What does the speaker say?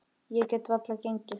Ég get varla gengið.